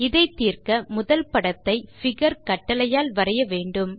இதை தீர்க்க முதல் படத்தை பிகர் கட்டளையால் வரைய வேண்டும்